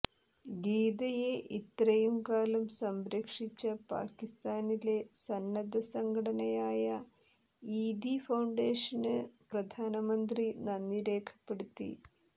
ഗീതയെ ഇത്രയും കാലം സംരക്ഷിച്ച പാക്കിസ്ഥാനിലെ സന്നദ്ധസംഘടനയായ ഈദി ഫൌണ്ടേഷന് പ്രധാനമന്ത്രി നന്ദി രേഖപ്പെടുത്തി